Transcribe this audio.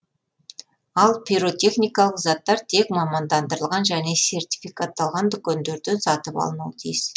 ал пиротехникалық заттар тек мамандандырылған және сертификатталған дүкендерден сатып алынуы тиіс